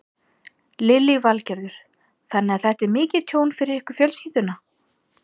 Lillý Valgerður: Þannig að þetta er mikið tjón fyrir ykkur fjölskylduna?